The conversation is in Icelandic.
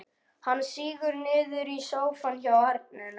Hann sígur niður í sófann hjá arninum.